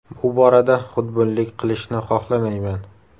Bu borada xudbinlik qilishni xohlamayman.